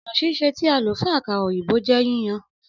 Ọna sise ti a lo fun akara oyinbo jẹ yíyan.